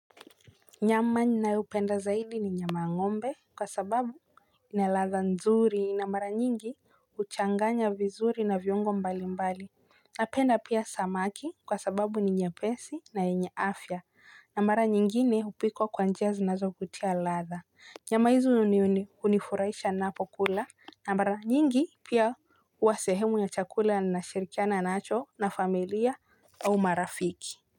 Nyama ninayopenda zaidi ni nyama ya ng'ombe kwa sababu ina ladha nzuri na mara nyingi. Huchanganya vizuri na viungo mbalimbali. Napenda pia samaki kwa sababu ni nyepesi na yenye afya. Na mara nyingine hupikwa kwa njia zinazokutia ladha. Nyama hizi hunifurahisha ninapokula na mara nyingi pia huwa sehemu ya chakula ninashirikiana nacho na familia au marafiki.